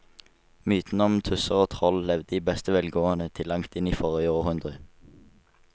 Mytene om tusser og troll levde i beste velgående til langt inn i forrige århundre.